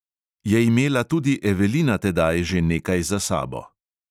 Je imela tudi evelina tedaj že nekaj za sabo.